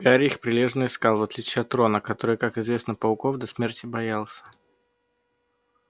гарри их прилежно искал в отличие от рона который как известно пауков до смерти боялся